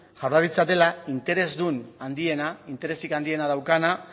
jaurlaritza dela interesdun handiena interesik handiena daukana